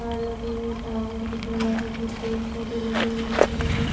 तार लगे हुए टावर दिख रहा है मुझे पेड़ पौधे लगे हुए दिख रहे हैं।